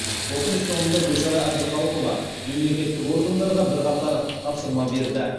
отырыс соңында гүлшара әбдіқалықова мемлекеттік органдарға бірқатар тапсырма берді